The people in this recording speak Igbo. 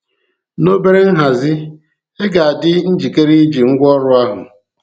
Na obere nhazi, ị ga-adị njikere iji ngwaọrụ ahụ.